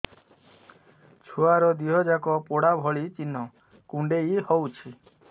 ଛୁଆର ଦିହ ଯାକ ପୋଡା ଭଳି ଚି଼ହ୍ନ କୁଣ୍ଡେଇ ହଉଛି